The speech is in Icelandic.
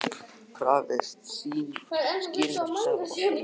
Krafðist skýringa frá Seðlabankanum